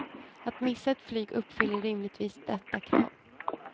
Att missa ett flyg uppfyller rimligtvis detta krav.